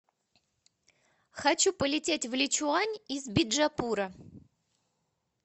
хочу полететь в личуань из биджапура